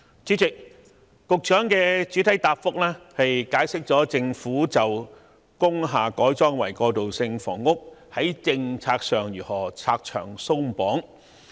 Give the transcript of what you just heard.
主席，局長在主體答覆解釋了政府就着工廈改裝為過渡性房屋的政策會如何拆牆鬆綁。